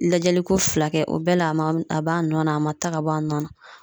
Lajɛliko fila kɛ o bɛɛ la a ma a b'a nɔ na a ma taa ka bɔ a nɔ na